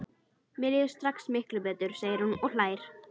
Mér líður strax miklu betur, segir hún og hlær.